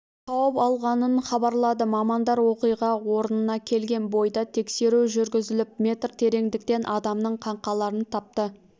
тауып алғанынхабарлады мамандар оқиға орнына келген бойда тексеру жүргізіліп метр тереңдіктен адамның қаңқаларын тапты